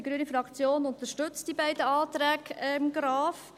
Die grüne Fraktion unterstützt die beiden Anträge Graf.